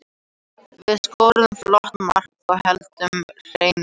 Við skoruðum flott mark og héldum hreinu.